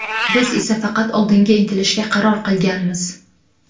Biz esa faqat oldinga intilishga qaror qilganmiz.